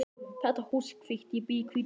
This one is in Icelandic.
Þetta hús er hvítt. Ég bý í hvítu húsi.